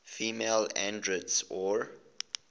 female androids or